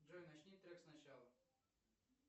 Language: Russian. джой начни трек сначала